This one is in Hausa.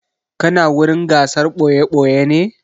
Kana wurin gasar ɓoye-ɓoye ne?